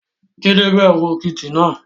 Jídẹ bẹ̀rù òkìtì náà